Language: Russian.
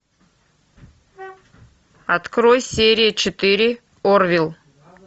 открой серия четыре орвилл